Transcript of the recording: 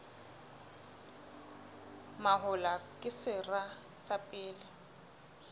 mahola ke sera sa pele